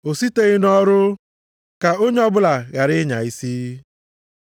O siteghị nʼọrụ, ka onye ọbụla ghara ịnya isi.